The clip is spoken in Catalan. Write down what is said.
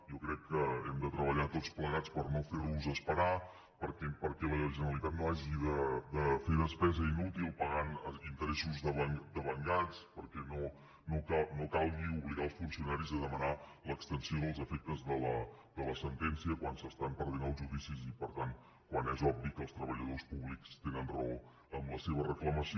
jo crec que hem de treballar tots plegats per no fer·los esperar perquè la generalitat no hagi de fer despesa inútil pagant interes·sos devengats perquè no calgui obligar els funcio·naris a demanar l’extensió dels efectes de la sentència quan s’estan perdent els judicis i per tant quan és obvi que els treballadors públics tenen raó en la seva reclama·ció